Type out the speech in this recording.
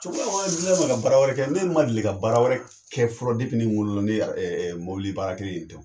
ka bara wɛrɛ kɛ ne ma deli ka bara wɛrɛ kɛ fɔlɔ ni n wolola ni mɔbili baara kelen in tɛ